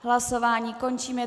Hlasování končím.